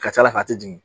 Ka ca ala fɛ a tɛ jigin